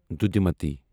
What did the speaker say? دودھیمتی